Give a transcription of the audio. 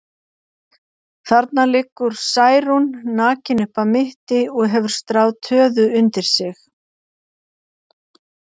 Þarna liggur Særún, nakin upp að mitti og hefur stráð töðu undir sig.